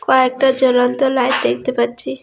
কয়েকটা জ্বলন্ত লাইত দেখতে পাচ্ছি।